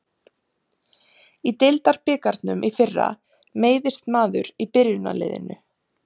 Í deildabikarnum í fyrra meiðist maður í byrjunarliðinu.